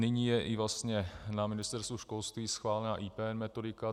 Nyní je i vlastně na Ministerstvu školství schválena IP metodika.